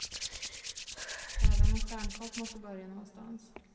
Även en stjärnkock måste börja någonstans.